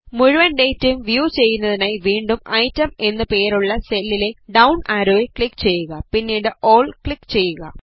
മുഴുവൻ ഡേറ്റയും വ്യൂ ചെയ്യുന്നതിനായി വീണ്ടും ഐറ്റം എന്നു പേരുള്ള സെല്ലിലെ ഡൌൺ ആരോയിൽ ക്ലിക് ചെയ്യുക പിന്നീട് ഓൾ ക്ലിക് ചെയ്യുക